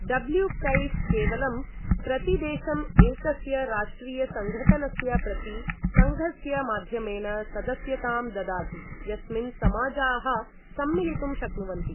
W K F केवलं प्रतिदेशम् एकस्य राष्ट्रियसङ्घटनस्य प्रति सङ्घस्य माध्यमेन सदस्यतां ददाति यस्मिन् समाजाः सम्मिलितुं शक्नुवन्ति।